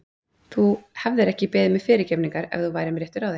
Þú hefðir ekki beðið mig fyrirgefningar ef þú værir með réttu ráði.